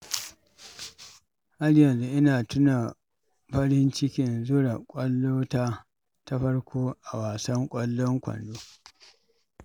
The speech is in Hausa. Har yanzu ina tuna farin cikin zura kwallota ta farko a wasan ƙwallon kwando